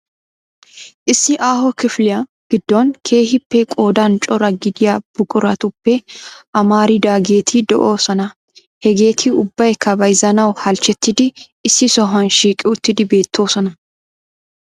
Issi aaho kifiliya giddon keehippe qoodan cora gidiyaa buquratuppe amaridaageeti de'oosona. Hegeti ubbaykka bayzzanaw halchchetidi issi sohuwaa shiiqi uttido beettoosona